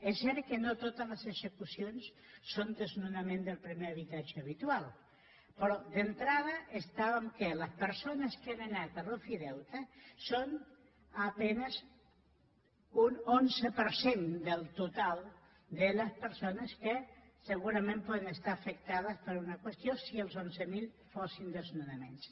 és cert que no totes les execucions són desnonament del primer habitatge habitual però d’entrada estàvem en el fet que les persones que han anat a l’ofideute són a penes un onze per cent del total de les persones que segurament poden estar afectades per una qüestió si els onze mil fossin desnonaments